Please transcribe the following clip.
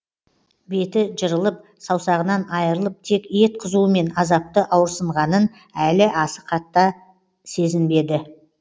беті жырылып саусағынан айрылып тек ет қызуымен азапты ауырсынғанын әлі аса қатты сезінбеді